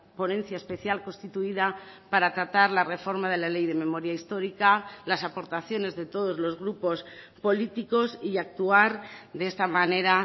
ponencia especial constituida para tratar la reforma de la ley de memoria histórica las aportaciones de todos los grupos políticos y actuar de esta manera